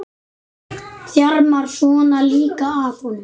Þjarmar svona líka að honum!